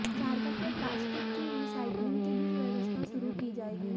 झारखंड में प्लास्टिक की रिसाइक्लिंग की भी व्यवस्था शुरू की जाएगी